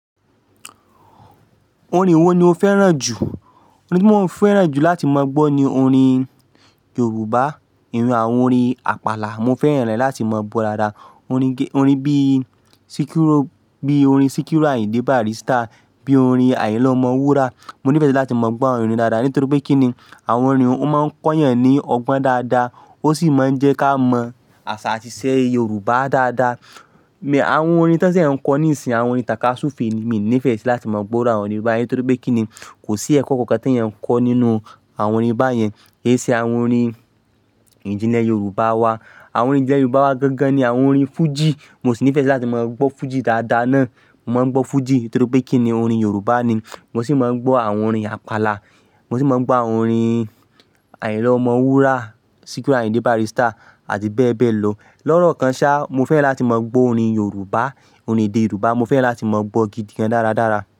Orin wo ni o fẹ́ràn jù? Orin tí mo ń fẹ́ràn jù láti máa gbọ́ ni orin Yorùbá. Iyún àwọn orin àpàlà, mo fẹ́ràn rẹ̀ láti máa gbọ́ dáadáa. Orin bíi Sikiru, bíi orin Sikiru Ayinde Barrister, bíi orin Ayinla Omowura. Mo nífẹ̀ẹ́ láti máa gbọ́ àwọn orin dáadáa, nítorí pé kí ni àwọn orin un o máa ń kọ́ eyàn ní ọgbọ́n dáadáa, ó sì máa ń jẹ́ ká mọ àṣà àti ìṣe Yorùbá dáadáa. Àwọn orin tí won se ń kọ níìsín, àwọn orin tàka súùfe mi ò nífẹ̀ẹ́ sí láti máa gbọ́ irú àwọn orin báyẹn torí pé kí ni kò sí ẹ̀kọ́ kankan tí ẹ̀yan ń kọ́ nínú àwọn orin báyẹn. Kì í ṣe àwọn orin ìjìnlẹ̀ Yorùbá wa. Àwọn orin ìjìnlẹ̀ Yorùbá wa gangan ni àwọn orin fújì. Mo sì nífẹ̀ẹ́ sí láti máa gbọ́ fújì dáadáa náà. Mo máa ń gbọ́ fújì torí pé kí ni orin Yorùbá ni. Mo sì máa ń gbọ́ àwọn orin àpàlà. Mo sì máa ń gbọ́ àwọn orin Ayinla Omowura, Sikiru Ayinde Barrister àti bẹ́ẹ̀ bẹ́ẹ̀ lọ. Lọ́ọ̀rọ̀ kan ṣá, mo fẹ́ran láti máa gbọ́ orin Yorùbá, orin èdè Yorùbá. Mo fẹ́ran láti máa gbọ́ gidi gan-an dáradára.